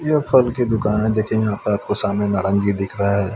यह फल की दुकान है देखेगे यहां पर आपको नारंगी दिख रहा है।